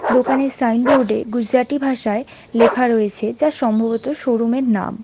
দোকানের সাইনবোর্ড -এ গুজরাটি ভাষায় লেখা রয়েছে যা সম্ভবত শোরুম -এর নাম।